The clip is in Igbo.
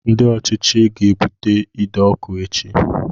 Ndị ọchịchị ga-ebute ide ọkụ echi